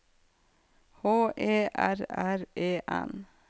H E R R E N